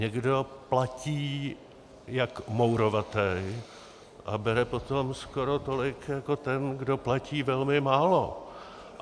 Někdo platí jak mourovatý a bere potom skoro tolik jako ten, kdo platí velmi málo.